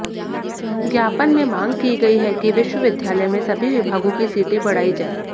ज्ञापन में मांग की गई है कि विश्वविद्यालय में सभी विभागों की सीटें बढ़ाई जाएं